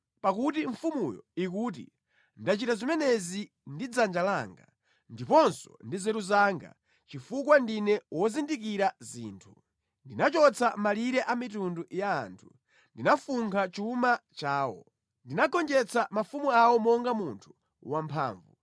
Pakuti mfumuyo ikuti, “ ‘Ndachita zimenezi ndi dzanja langa, ndiponso ndi nzeru zanga, chifukwa ndine wozindikira zinthu. Ndinachotsa malire a mitundu ya anthu, ndinafunkha chuma chawo; ndinagonjetsa mafumu awo monga munthu wamphamvu.